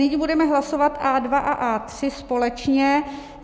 Nyní budeme hlasovat A2 a A3 společně.